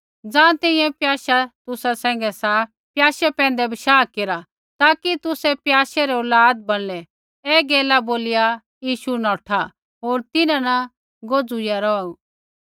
ज़ाँ तैंईंयैं प्याशा तुसा सैंघै सा प्याशै पैंधै बशाह केरा ताकि तुसै प्याशै रै औलाद बणलै ऐ गैला बोलिया यीशु नौठा होर तिन्हां न गोजुईया रौहु